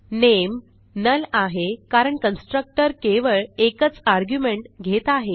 नामे null आहे कारण constructor केवळ एकच आर्ग्युमेंट घेत आहे